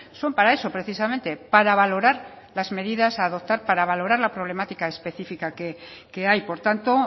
son para eso precisamente para valorar las medidas a adoptar para valorar la problemática específica que hay por tanto